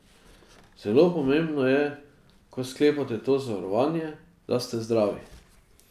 Zelo pomembno je, ko sklepate to zavarovanje, da ste zdravi.